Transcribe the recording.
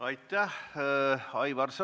Aitäh!